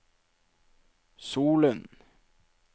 Solund